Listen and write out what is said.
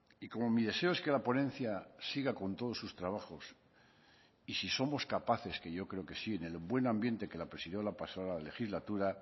y como mi deseo es que la ponencia siga con todos sus trabajos y si somos capaces que yo creo que sí en el buen ambiente que la presidió la pasada legislatura